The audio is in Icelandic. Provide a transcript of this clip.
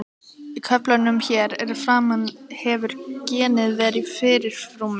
Í köflunum hér að framan hefur genið verið í fyrirrúmi.